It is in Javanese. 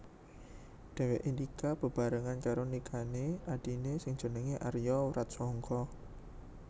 Dhéwékè nikah bebarengan karo nikahané adhiné sing jenengé Arya Wratsangka